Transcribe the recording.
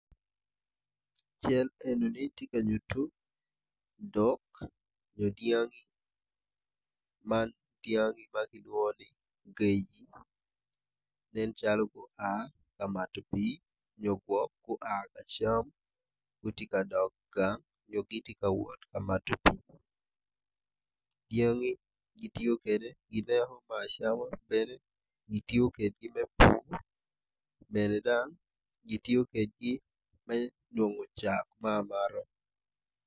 Cal enini tye ka nyuto dok nyo dyangi man dyangi ma kilwongo ni gaji nen calo gua ka mato pii nyo gwok gua ka cam gitye ka dok gang nyo gitye ka wot ka mato pii dyangi gitiyo kwede gineko me acama bene gitiyo kedgi me pur bene gitiyo kedgi me nongo cak me amata.